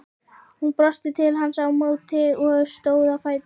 Hún brosti til hans á móti og stóð á fætur.